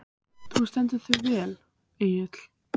Þú stendur þig vel, Engill!